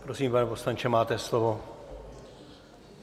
Prosím, pane poslanče, máte slovo.